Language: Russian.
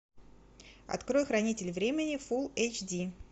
открой хранитель времени фул эйч ди